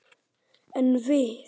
En við!